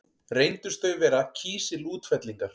Reyndust þau vera kísilútfellingar.